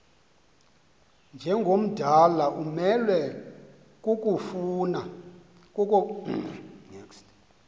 njengomdala umelwe kukofuna